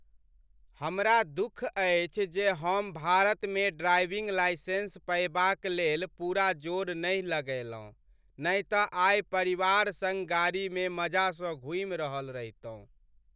हमरा दुख अछि जे हम भारतमे ड्राइविंग लाइसेंस पयबाकलेल पूरा जोर नहि लगयलहुँ नहि तँ आइ परिवार सङ्ग गाड़ीमे मजासँ घूमि रहल रहितहुँ।